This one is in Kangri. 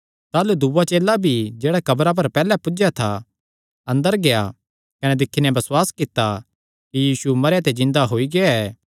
ताह़लू दूआ चेला भी जेह्ड़ा कब्रा पर पैहल्लैं पुज्जया था अंदर गेआ कने दिक्खी नैं बसुआस कित्ता कि यीशु मरेयां ते जिन्दा होई गेआ ऐ